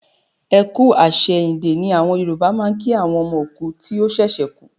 Ẹ kú àsẹ̀yìndè ni àwọn Yòrùbá ń kí àwọn ọmọ òkú tí ó ṣẹ̀ṣẹ̀ kú